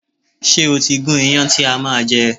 Ṣé o ti gún iyán ti a máa je?